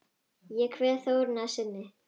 Ég kveð Þórunni að sinni.